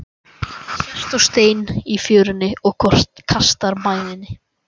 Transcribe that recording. Sest á stein í fjörunni og kastar mæðinni.